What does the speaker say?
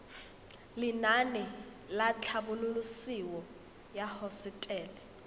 lenaane la tlhabololosewa ya hosetele